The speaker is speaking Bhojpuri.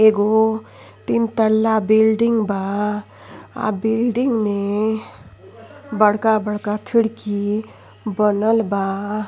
एगो तीन तल्ला बिल्डिंग बा आ बिल्डिंग में बड़का-बड़का खिड़की बलल बा।